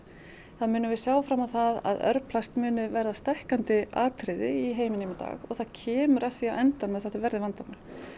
þá munum við sjá fram á það að örplast muni verða stækkandi atriði í heiminum í dag það kemur að því á endanum að þetta verði vandamál